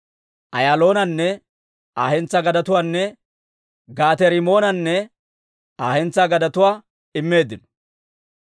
Ayaaloonanne Aa hentsaa gadetuwaanne Gaate-Rimmoonanne Aa hentsaa gadetuwaa immeeddino.